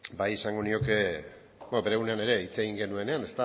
bai esango nioke bere egunean ere hitz egin genuenean